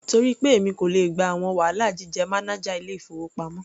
Torí pé èmi kò le gba àwọn wàhálà jíjẹ́ mánájà ilé-ìfowópamọ́.